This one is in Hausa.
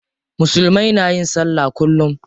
Musulmai na yin sallah kullum.